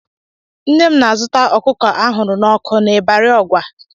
Nne m na-azụta ọkụkọ a hụrụ n'ọkụ n'Ịbarị Ọgwa.